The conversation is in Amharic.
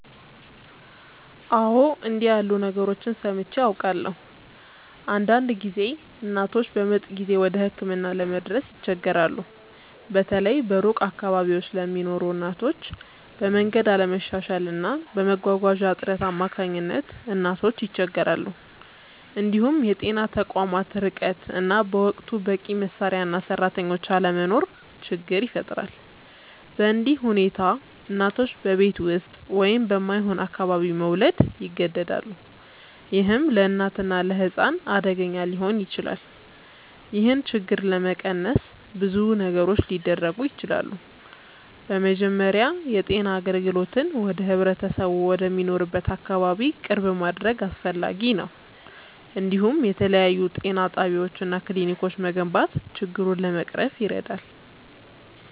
አዎ፣ እንዲህ ያሉ ነገሮችን ሰምቼ አውቃለሁ። አንዳንድ ጊዜ እናቶች በምጥ ጊዜ ወደ ሕክምና ለመድረስ ይቸገራሉ፤ በተለይ በሩቅ አካባቢዎች ለሚኖሩ እናቶች፤ በመንገድ አለመሻሻል እና በመጓጓዣ እጥረት አማካኝነት ብዙ እናቶች ይቸገራሉ። እንዲሁም የጤና ተቋማት ርቀት እና በወቅቱ በቂ መሳሪያ እና ሰራተኞች አለመኖር ችግር ይፈጥራል። በእንዲህ ሁኔታ እናቶች በቤት ውስጥ ወይም በማይሆን አካባቢ መውለድ ይገደዳሉ፣ ይህም ለእናትና ለሕፃን አደገኛ ሊሆን ይችላል። ይህን ችግር ለመቀነስ ብዙ ነገሮች ሊደረጉ ይችላሉ። በመጀመሪያ የጤና አገልግሎትን ወደ ህብረተሰቡ ወደሚኖርበት አካባቢ ቅርብ ማድረግ አስፈላጊ ነው፤ እንዲሁም የተለያዩ ጤና ጣቢያዎች እና ክሊኒኮች መገንባት ችግሩን ለመቅረፍ ይረዳል።